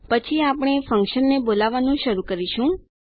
પછી આપણે ફન્કશનને બોલાવવાનું શરૂ કરીશું